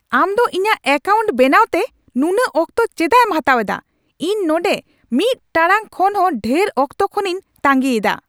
ᱟᱢ ᱫᱚ ᱤᱧᱟᱜ ᱣᱠᱟᱣᱩᱱᱴ ᱵᱮᱱᱟᱣᱛᱮ ᱱᱩᱱᱟᱹᱜ ᱚᱠᱛᱚ ᱪᱮᱫᱟᱜ ᱮᱢ ᱦᱟᱛᱟᱣ ᱮᱫᱟ ? ᱤᱧ ᱱᱚᱸᱰᱮ ᱢᱤᱫ ᱴᱟᱲᱟᱝ ᱠᱷᱚᱱ ᱦᱚᱸ ᱰᱷᱮᱨ ᱚᱠᱛᱚ ᱠᱷᱚᱱᱤᱧ ᱛᱟᱹᱜᱤᱭᱮᱫᱟ ᱾